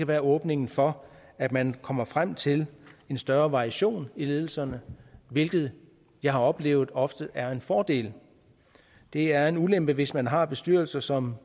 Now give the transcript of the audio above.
være åbningen for at man kommer frem til en større variation i ledelsen hvilket jeg har oplevet ofte er en fordel det er en ulempe hvis man har bestyrelser som